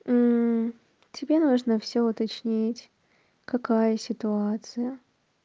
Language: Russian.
тебе нужно всё уточнить какая ситуация